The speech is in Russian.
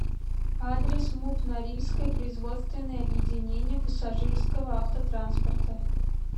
адрес муп норильское производственное объединение пассажирского автотранспорта